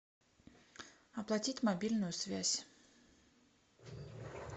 оплатить мобильную связь